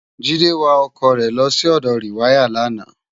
Jide wá òkò re lò si òdò riwàyá làná